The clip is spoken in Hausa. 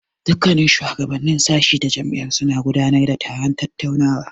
Dukkannin shuwagabannin sashi ta jami'ar suna gudanar da taron tattaunawa.